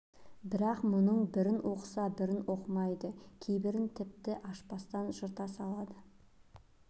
бірақ мұның бірін оқыса бірін оқымайды кейбірін тіпті ашпастан жырта салады